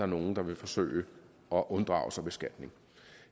nogle der vil forsøge at unddrage sig beskatning